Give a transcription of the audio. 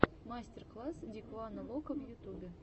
мастер класс дикуана локо в ютюбе